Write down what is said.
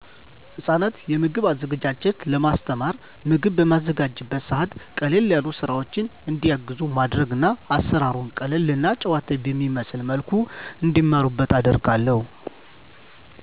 ህጻናትን የምግብ አዘገጃጀት ለማስተማር፣ ምግብ በማዘጋጅበት ሰዐት ቀለል ያሉ ስራወችን እንዲያግዙ ማድረግና አሰራሩን ቀለል እና ጨዋታዊ በሚመስል መልኩ እንዲማሩት አደርጋለሁ።